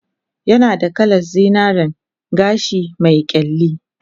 Yanada kalan zinaren gashi me kyalli